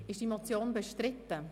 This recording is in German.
Ist die Motion bestritten?